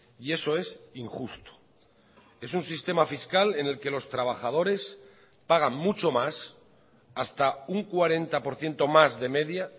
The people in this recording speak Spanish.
y eso es injusto es un sistema fiscal en el que los trabajadores pagan mucho más hasta un cuarenta por ciento más de media